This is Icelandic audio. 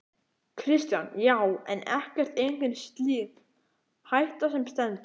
Kristján: Já, en ekkert, engin slík hætta sem stendur?